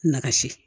Nagasi